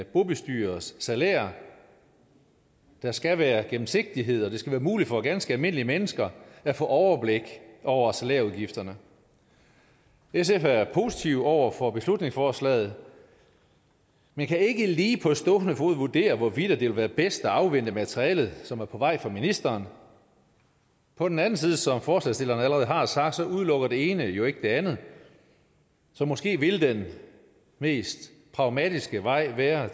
bobestyrers salær der skal være gennemsigtighed og det skal være muligt for ganske almindelige mennesker at få overblik over salærudgifterne sf er positive over for beslutningsforslaget men kan ikke lige på stående fod vurdere hvorvidt det vil være bedst at afvente materialet som er på vej fra ministeren på den anden side som forslagsstillerne allerede har sagt udelukker det ene jo ikke det andet så måske ville den mest pragmatiske vej være